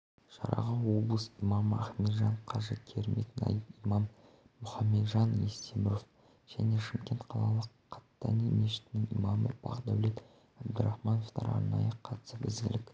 шараға облыс имамы ахметжан қажы керімбек найб имам мұхамеджан естеміров және шымкент қалалық қаттани мешітінің имамы бақдәулет абдірахмановтар арнайы қатысып ізгілік